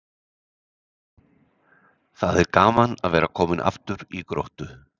Það er gaman að vera kominn aftur í Gróttu.